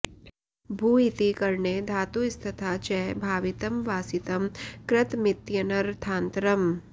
भू इति करणे धातुस्तथा च भावितं वासितं कृतमित्यनर्थान्तरम्